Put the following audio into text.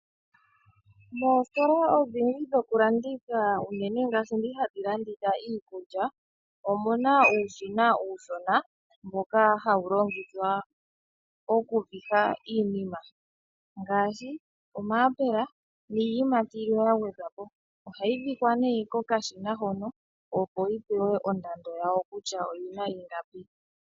Moositola odhindji dhokulanditha unene ngaashi ndhi hadhi landitha iikulya , omuna uushina uushona mboka hawu longithwa okuviha iinima ngaashi omayapula , niiyamati yilwe yagwedhwapo , ohayi vihwa kokashina hono opo yipewe ondando yawo kutya oyina ingapi.